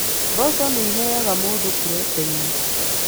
Mboco nĩ iheaga mũndũ proteĩni